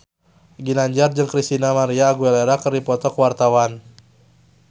Ginanjar jeung Christina María Aguilera keur dipoto ku wartawan